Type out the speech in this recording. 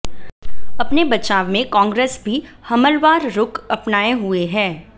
अपने बचाव में कांग्रेस भी हमलवार रुख अपनाए हुए है